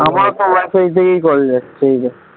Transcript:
তো wifi থেকে call যাচ্ছে এই দেখ।